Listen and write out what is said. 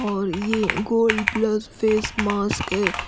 और ये gold plus face mask है।